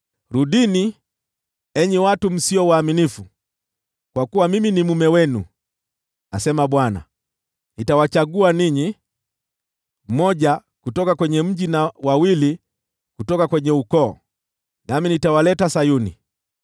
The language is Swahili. “Rudini, enyi watu msio waaminifu, kwa kuwa mimi ni mume wenu,” asema Bwana . “Nitawachagua ninyi, mmoja kutoka kwenye mji, na wawili kutoka kwenye ukoo, nami nitawaleta Sayuni.